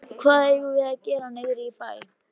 Hvað eigum við að gera niðri í bæ?